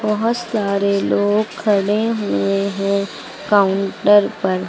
बहोत सारे लोग खड़े हुए हैं काउंटर पर।